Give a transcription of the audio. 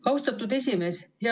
Austatud esimees!